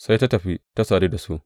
Sai ta tafi, ta sadu da su.